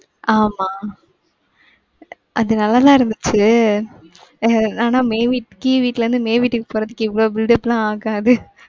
ஆமா அது நல்லா தான் இருந்துச்சு. ஆனா மேவ் வீட்கீழ் வீட்டுல இருந்து, மேவ் வீட்டுக்கு போறதுக்கு இவளோ buildup லாம் ஆகாது.